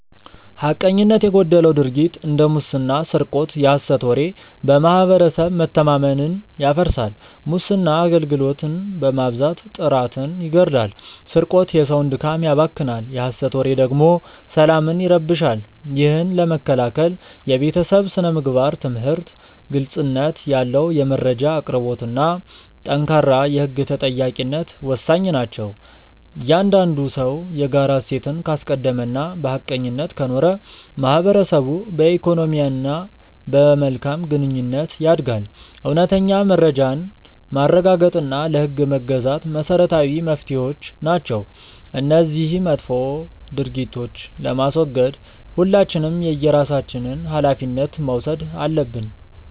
ሐቀኝነት የጎደለው ድርጊት እንደ ሙስና ስርቆት የሐሰት ወሬ በማህበረሰብ መተማመንን ያፈርሳል። ሙስና አገልግሎትን በማዛባት ጥራትን ይገድላል ስርቆት የሰውን ድካም ያባክናል የሐሰት ወሬ ደግሞ ሰላምን ይረብሻል። ይህን ለመከላከል የቤተሰብ ስነ-ምግባር ትምህርት፣ ግልጽነት ያለው የመረጃ አቅርቦትና ጠንካራ የህግ ተጠያቂነት ወሳኝ ናቸው። እያንዳንዱ ሰው የጋራ እሴትን ካስቀደመና በሐቀኝነት ከኖረ ማህበረሰቡ በኢኮኖሚና በመልካም ግንኙነት ያድጋል። እውነተኛ መረጃን ማረጋገጥና ለህግ መገዛት መሰረታዊ መፍትሄዎች ናቸው። እነዚህን መጥፎ ድርጊቶች ለማስወገድ ሁላችንም የየራሳችንን ሃላፊነት መውሰድ አለብን።